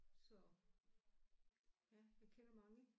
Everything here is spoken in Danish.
Så ja jeg kender mange